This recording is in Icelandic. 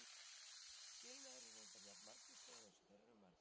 Skilnaðir eru reyndar jafn margvíslegir eins og þeir eru margir.